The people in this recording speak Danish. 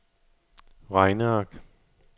regneark